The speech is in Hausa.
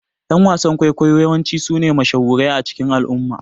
Ƴan wasan ƙwaikwayo yawanci sune mashahurai a cikin al'umma